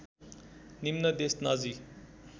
निम्न देश नाजी